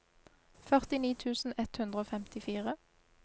førtini tusen ett hundre og femtifire